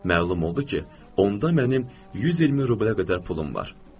Məlum oldu ki, onda mənim 120 rublə qədər pulum var.